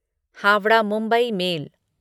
Howrah Mumbai mail